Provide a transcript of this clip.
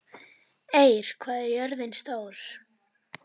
Eir, hvað er jörðin stór?